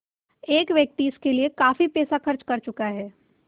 एक व्यक्ति इसके लिए काफ़ी पैसा खर्च कर चुका है